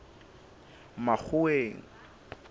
makgoweng